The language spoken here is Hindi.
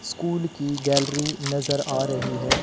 स्कूल की गैलरी नजर आ रही है।